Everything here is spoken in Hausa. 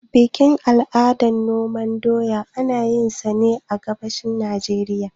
Bikin al'ada na noman doya, ana yinsa ne a gabashin Najeriya.